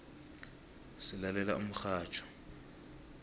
silalela umxhatjho